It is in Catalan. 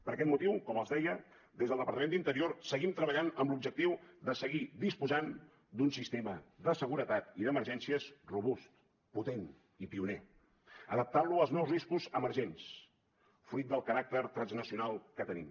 per aquest motiu com els deia des del departament d’interior seguim treballant amb l’objectiu de seguir disposant d’un sistema de seguretat i d’emergències robust potent i pioner adaptant lo als nous riscos emergents fruit del caràcter transnacional que tenim